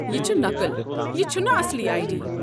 یہ چھُ نقٕل، یہ چھُنہٕ اصلی آیی ڈی۔